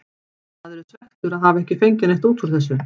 Maður er svekktur að hafa ekki fengið neitt út úr þessu.